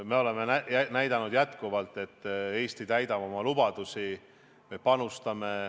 Me oleme jätkuvalt näidanud, et Eesti täidab oma lubadusi.